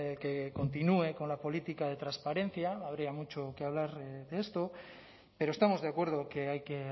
que continúe con la política de transparencia habría mucho que hablar de esto pero estamos de acuerdo que hay que